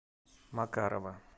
макарова